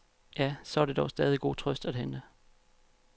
Ja, så er der dog stadig god trøst at hente.